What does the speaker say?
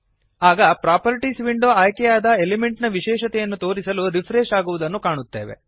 ಆಗ properties window ಆಯ್ಕೆಯಾದ element ನ ವಿಶೇಷತೆಯನ್ನು ತೋರಿಸಲು ರಿಪ್ರೆಶ್ ಆಗುವುದನ್ನು ಕಾಣುತ್ತೇವೆ